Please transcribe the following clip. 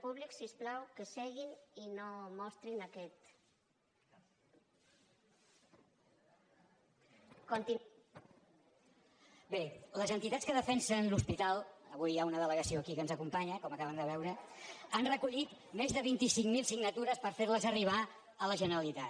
bé les entitats que defensen l’hospital avui hi ha una delegació aquí que ens acompanya com acaben de veure han recollit més de vint cinc mil signatures per fer les arribar a la generalitat